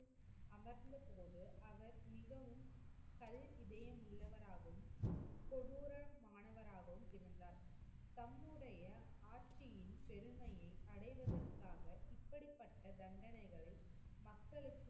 மிகவும் கல் இதயமுள்ளவராகவும், கொடுரமானவராகவும் இருந்தார். தம்முடைய ஆட்சியின் பெருமையை அடைவதற்காக இப்படிப்பட்ட தண்டனைகளை மக்களுக்கு,